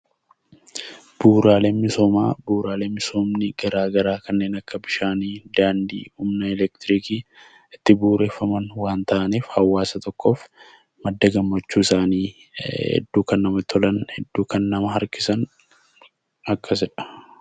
Bu'uuraaleen misoomaa bu'uuraalee misoomni garaa garaa kanneen akka bishaanii, daandii, humna elektirikii itti bu'uureffaman waan ta'aniif hawaasa tokkoof madda gammachuusaanii, hedduu kan namatti tolan, hedduu kan nama harkisan akkasidha.